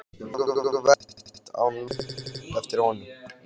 Mjög verðmæt, át Lóa upp eftir honum.